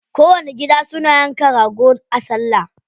Kowanni gida suna yanka rago a salla.